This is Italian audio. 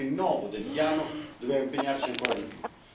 Con il rinnovo del Piano dobbiamo impegnarci ancora di più.